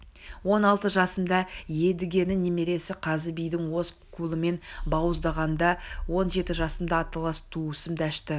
он алты жасымда едігенің немересі қазы биді өз қолыммен бауыздағанда он жеті жасымда аталас туысым дәшті